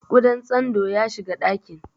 Ƙudan tsandon ya shiga ɗakin.